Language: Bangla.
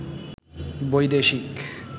বৈদেশিক